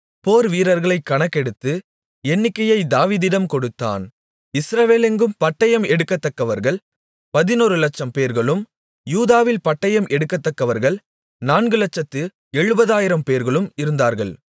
போர் வீரர்களைக் கணக்கெடுத்து எண்ணிக்கையை தாவீதிடம் கொடுத்தான் இஸ்ரவேலெங்கும் பட்டயம் எடுக்கத்தக்கவர்கள் பதினொரு லட்சம்பேர்களும் யூதாவில் பட்டயம் எடுக்கத்தக்கவர்கள் நான்குலட்சத்து எழுபதாயிரம்பேர்களும் இருந்தார்கள்